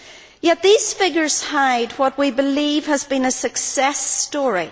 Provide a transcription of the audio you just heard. Yet these figures hide what we believe has been a success story.